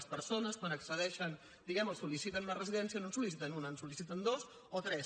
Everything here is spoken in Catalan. les persones quan accedeixen diguem ne o sol·liciten una residència no en sol·liciten una en sol·liciten dues o tres